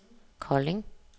Kolding